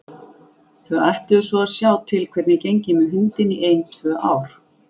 Þau ætluðu svo að sjá til hvernig gengi með hundinn í ein tvö ár.